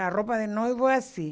A roupa de noivo é assim.